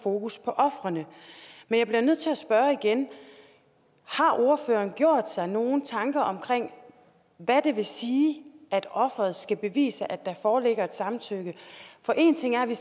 fokus på ofrene men jeg bliver nødt til at spørge igen har ordføreren gjort sig nogen tanker omkring hvad det vil sige at offeret skal bevise at der foreligger et samtykke for én ting er at vi